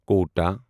Kota